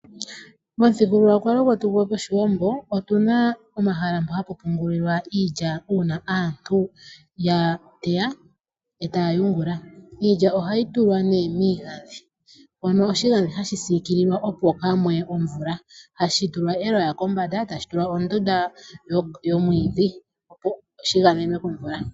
Momuthigululwakalo gwetu gOshiwambo otuna omahala mpo hapu pungulilwa iilya uuna aantu ya teya e taya yungula. Iilya ohayi tulwa nee miigandhi mono oshigandhi hashi siikilwa opo kaa mu ye omvula, hashi tulwa eloya kombanda tashi tulwa ondunda yomwiidhi opo shi gamenwe komvula.